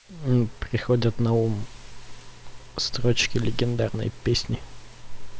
приходят на ум строчки легендарной песни